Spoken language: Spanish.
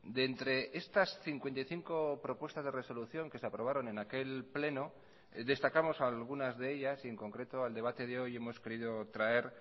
de entre estas cincuenta y cinco propuestas de resolución que se aprobaron en aquel pleno destacamos algunas de ellas y en concreto al debate de hoy hemos querido traer